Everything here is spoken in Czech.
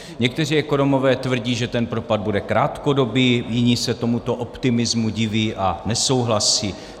Někteří ekonomové tvrdí, že ten propad bude krátkodobý, jiní se tomuto optimismu diví a nesouhlasí.